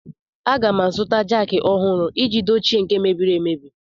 Aga m azụta jaakị ọhụrụ iji dochie nke mebiri emebi.